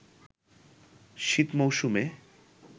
শীত মৌসুমে